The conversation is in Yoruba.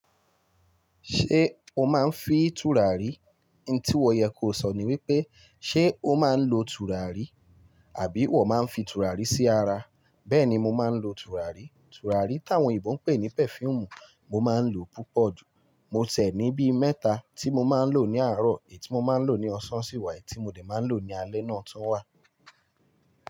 Ṣé o máa ń fi tùràrí? N tí wọ̀ yẹ kó sọ̀ ní wípé, ṣé o máa ń lo tùràrí? Àbí wọ̀ máa ń fi tùràrí sí ara? Bẹ́ẹ̀ni mo máa ń lo tùràrí. Tùràrí táwọn òyìnbó ń pè ní perfume, mo máa ń lo púpọ̀ jù. Mo tiẹ̀ ní bí mẹ́ta tí mo máa ń lò ní àárọ̀, è tí mo máa ń lò ní ọ̀sán sì wá è tí mo lè máa ń lò ní alẹ́ náà tún wà.